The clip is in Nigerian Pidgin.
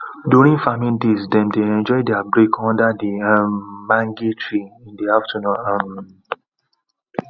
during farming days them dey enjoy there break under the um mange tree in the afternoon um